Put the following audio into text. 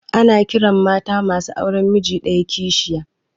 Ana ƙiran mata masu auren miji ɗaya kishiya